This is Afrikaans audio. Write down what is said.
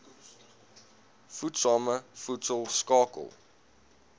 voedsame voedsel skakel